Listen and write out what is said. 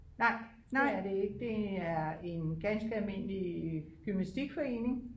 Nej det er det ikke det er en ganske almindelig gymnastikforening